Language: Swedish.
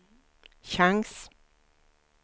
chans